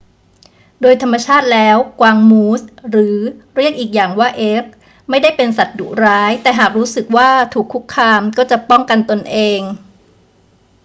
โดยธรรมชาติแล้วกวางมูส หรือเรียกอีกอย่างว่าเอล์ค ไม่ได้เป็นสัตว์ดุร้าย แต่หากรู้สึกว่าถูกคุกคามก็จะป้องกันตนเอง